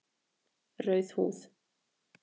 Rauð húð